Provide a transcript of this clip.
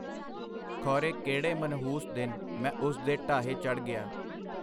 ਖੋਰੇ ਕਿਹੜੇ ਮਨਹੂਸ ਦਿਨ ਮੈਂ ਉਸ ਦੇ ਢਾਹੇ ਚੱੜ੍ਹ ਗਿਆ.